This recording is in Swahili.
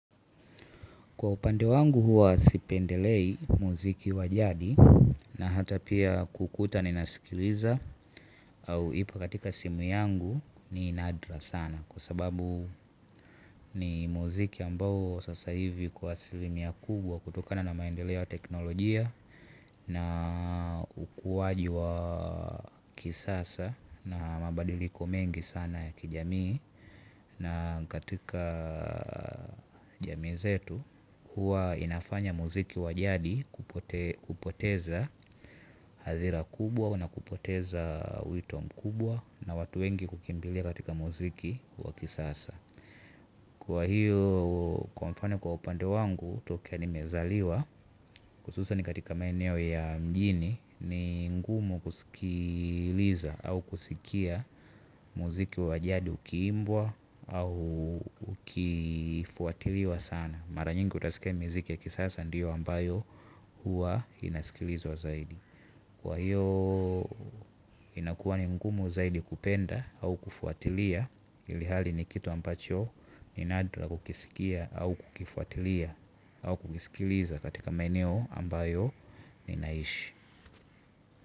Kwa upande wangu huwa sipendelei muziki wajadi na hata pia kuukuta ninasikiliza au ipo katika simu yangu ni nadra sana. Kwa sababu ni muziki ambao sasa hivi kwa asilimia kubwa kutokana na maendeleo ya teknolojia na ukuwaji wa kisasa na mabadiliko mengi sana ya kijamii. Na katika jamii zetu huwa inafanya muziki wajadi kupoteza hadhira kubwa na kupoteza wito mkubwa na watu wengi hukimbilia katika muziki wakisasa. Kwa hiyo kwa mfano kwa upande wangu tokea ni mezaliwa hususan katika maeneo ya mjini ni ngumu kusikiliza au kusikia muziki wa jadi ukiimbwa au ukifuatiliwa sana. Mara nyingi utasikia ni muziki ya kisasa ndiyo ambayo huwa inasikilizwa zaidi. Kwa hiyo inakuwa ni ngumu zaidi kupenda au kufuatilia ilihali ni kitu ambacho ni nadra kukisikia au kukifuatilia au kukisikiliza katika maeneo ambayo ninaishi.